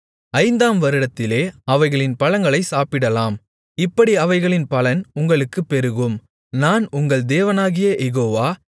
ஐந்தாம் வருடத்திலே அவைகளின் பழங்களைச் சாப்பிடலாம் இப்படி அவைகளின் பலன் உங்களுக்குப் பெருகும் நான் உங்கள் தேவனாகிய யெகோவா